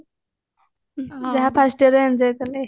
ଯାହା first yearରେ enjoy କଲେ